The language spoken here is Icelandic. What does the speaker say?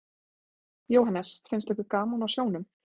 Jóhannes: Finnst ykkur gaman á sjónum?